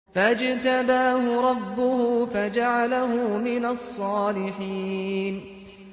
فَاجْتَبَاهُ رَبُّهُ فَجَعَلَهُ مِنَ الصَّالِحِينَ